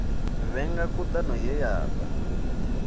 vhenga khudano ye ya da